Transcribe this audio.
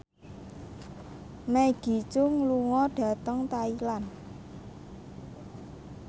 Maggie Cheung lunga dhateng Thailand